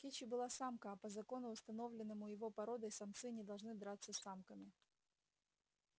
кичи была самка а по закону установленному его породой самцы не должны драться с самками